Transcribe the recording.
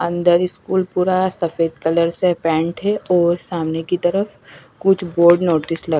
अंदर स्कूल पूरा सफेद कलर से पेन्ट है और सामने की तरफ कुछ बोर्ड नोटिस ल--